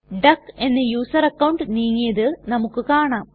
duck എന്ന user account നീങ്ങിയത് നമുക്ക് കാണാം